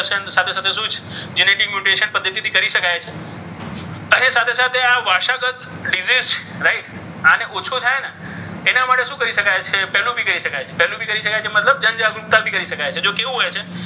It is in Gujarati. તેની પદ્ધતિ શું છે? genetic mutation પદ્ધતિથી કરી શકાય છે અને સાથે સાથે આ વારસાગત રીતે જ right અને ઓછો થાય ને એના માટે શું કરી શકાય છે? કરી શકાય છે. બી કરી શકાય છે. મતલબ જનજાગૃતિ કરી શકાય છે. મતલબ કેવું હોય છે?